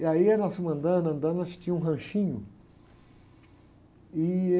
E aí nós fomos andando, andando, nós tínhamos um ranchinho. Ih